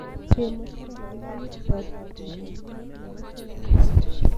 Chemotherapy ko kerichotab mokongiot nebo cells